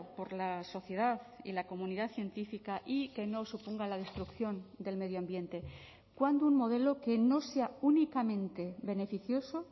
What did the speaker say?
por la sociedad y la comunidad científica y que no suponga la destrucción del medio ambiente cuándo un modelo que no sea únicamente beneficioso